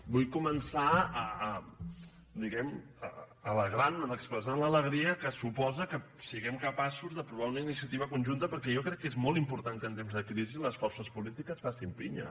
vull començar di·guem·ne alegrant·me’n expressant l’alegria que supo·sa que siguem capaços d’aprovar una iniciativa conjun·ta perquè jo crec que és molt important que en temps de crisi les forces polítiques facin pinya